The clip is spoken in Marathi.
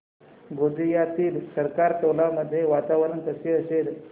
गोंदियातील सरकारटोला मध्ये वातावरण कसे असेल